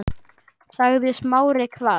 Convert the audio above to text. sagði Smári hvasst.